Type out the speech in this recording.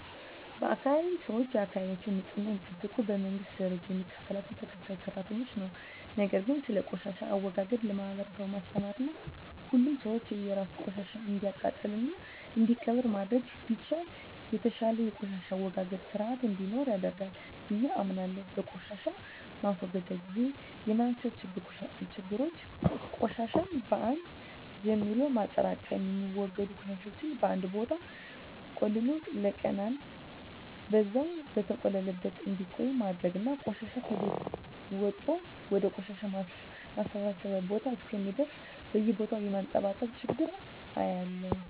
በአካባቢየ ሰወች የአካባቢያቸውን ንጽህና የሚጠብቁት በመንግስት ደረጃ የሚከፈላቸው ተከፋይ ሰራተኞች ነው። ነገር ግን ስለቆሻሻ አወጋገድ ለማህበረሰቡ ማስተማርና ሁሉም ሰው የራሱን ቆሻሻ እንዲያቃጥልና እንዲቀብር ማድረግ ቢቻል የተሻለ የቆሻሻ አወጋገድ ስርአት እንዲኖረን ያደርጋል ብየ አምናለሁ። በቆሻሻ ማስወገድ ግዜ የማያቸው ችግሮች ቆሻሻን በአን ጀምሎ ማጠራቅም፣ የሚወገዱ ቆሻሻወችን በአንድ ቦታ ቆልሎ ለቀናን በዛው በተቆለለበት እንዲቆይ ማድረግና ቆሻሻ ከቤት ወጦ ወደ ቆሻሻ ማሰባሰቢያ ቦታ እስከሚደርስ በየቦታው የማንጠባጠብ ችግር አያለሁ።